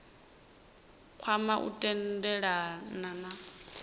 kwama u tendelana kha madzina